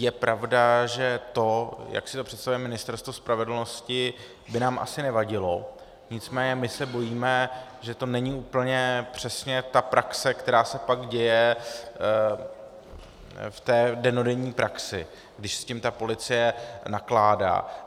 Je pravda, že to, jak si to představuje Ministerstvo spravedlnosti, by nám asi nevadilo, nicméně my se bojíme, že to není úplně přesně ta praxe, která se pak děje v té dennodenní praxi, když s tím ta policie nakládá.